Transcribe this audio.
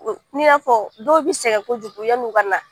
N'i y'a fɔ dɔw bɛ sɛgɛn kojugu yanni u ka na